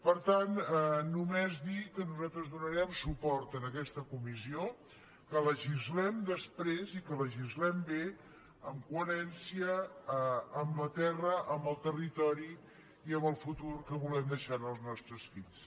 per tant només dir que nosaltres donarem suport en aquesta comissió que legislem després i que legislem bé amb coherència amb la terra amb el territori i amb el futur que volem deixar als nostres fills